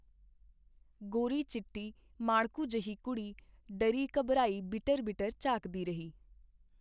ਗੋਰੀ ਚਿੱਟੀ ਮਾੜਕੂ ਜਿਹੀ ਕੁੜੀ ਡਰੀ ਘਬਰਾਈ ਬਿਟਰ ਬਿਟਰ ਝਾਕਦੀ ਰਹੀ.